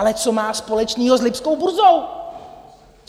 Ale co má společného s lipskou burzou?